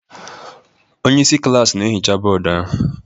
Onye isi klaasị na-ehicha bọọdụ ahụ.